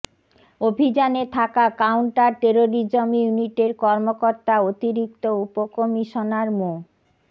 অভিযানে থাকা counter terrorism ইউনিটের কর্মকর্তা অতিরিক্ত উপকমিশনার মো